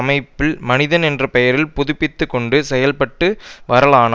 மைப்பில் மனிதன் என்ற பெயரில் புதுப்பித்துக்கொண்டு செயல்பட்டு வரலானா